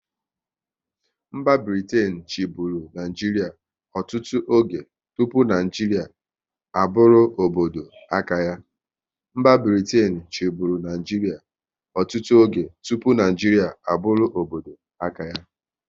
Mba Britain chiburu Naijiria ọtụtụ oge tụpụ Naijiria a bụrụ obodo aka ya